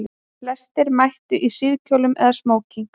Flestir mættu í síðkjólum eða smóking